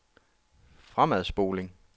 fremadspoling